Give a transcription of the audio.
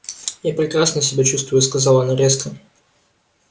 я прекрасно себя чувствую сказала она резко